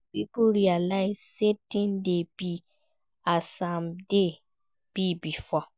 Make old pipo realise say things de be as im de be before